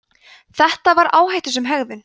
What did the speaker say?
þetta var áhættusöm aðgerð